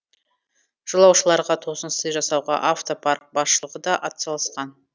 жолаушыларға тосын сый жасауға автопарк басшылығы да атсалысқан